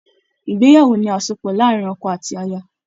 Ìgbéyàwó ni àsopọ̀ láàrin ọkọ àti aya